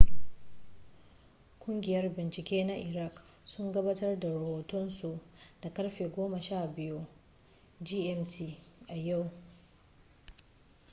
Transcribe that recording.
kungiyar bincike na iraq sun gabatar da rohotonsu da karfe 12.00 gmt a yau